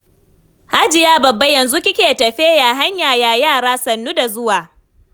Hajiya Babba yanzu kike tafe? Ya hanya, ya yara? Sannu da zuwa.